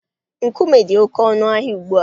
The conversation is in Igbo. Nkume dị oké ọnụ ahịa ugbu a.